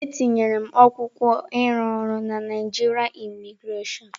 Etinyere m akwụkwọ ịrụ ọrụ na Naịjirịa Imigrasion.